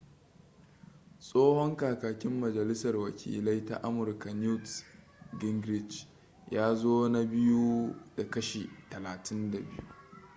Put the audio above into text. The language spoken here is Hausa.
tsohon kakakin majalisar wakilai ta amurka newt gingrich ya zo na biyu da kashi 32